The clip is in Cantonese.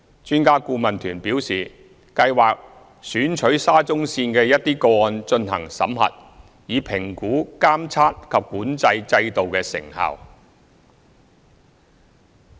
專家顧問團表示，計劃選取沙中線的一些個案進行審核，以評估監測及管制制度的成效。